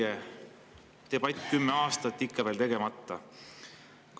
Debatt kümme aastat ja ikka veel on see kõik tegemata.